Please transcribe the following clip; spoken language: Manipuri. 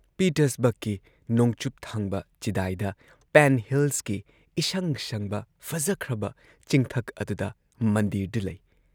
ꯄꯤꯇꯔꯁꯕꯔꯒꯀꯤ ꯅꯣꯡꯆꯨꯞꯊꯪꯕ ꯆꯤꯗꯥꯏꯗ ꯄꯦꯟ ꯍꯤꯜꯁꯀꯤ ꯏꯁꯪ ꯁꯪꯕ ꯐꯖꯈ꯭ꯔꯕ ꯆꯤꯡꯊꯛ ꯑꯗꯨꯗ ꯃꯟꯗꯤꯔꯗꯨ ꯂꯩ ꯫